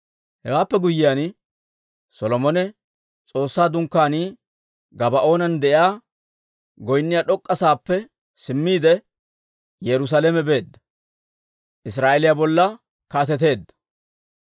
Hewaappe guyyiyaan, Solomone S'oossaa Dunkkaanii Gabaa'oonan de'iyaa, goynniyaa d'ok'k'a saappe simmiide, Yerusaalame beedda; Israa'eeliyaa bolla kaateteedda.